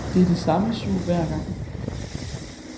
Det er det samme sug hver gang.